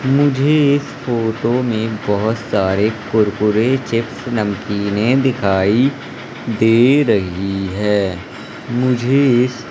मुझे इस फोटो में बहुत सारे कुरकुरे चिप्स नमकीन दिखाई दे रही है मुझे इस --